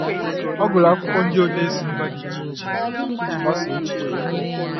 Ọ gụrụ akwụkwọ ndị odee si mba dị iche iche iji gbasaa echiche ya.